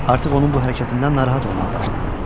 Artıq onun bu hərəkətindən narahat olmağa başlayırdı.